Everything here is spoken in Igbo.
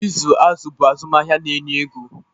ịzụ azụ̀ bụ azụmahịa na-enye ego